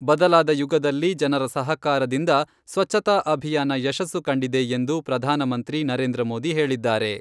ಬದಲಾದ ಯುಗದಲ್ಲಿ ಜನರ ಸಹಕಾರದಿಂದ ಸ್ವಚ್ಛತಾ ಅಭಿಯಾನ ಯಶಸ್ಸು ಕಂಡಿದೆ ಎಂದು ಪ್ರಧಾನಮಂತ್ರಿ ನರೇಂದ್ರ ಮೋದಿ ಹೇಳಿದ್ದಾರೆ.